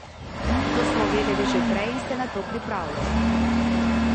To smo vedeli že prej in se na to pripravljali.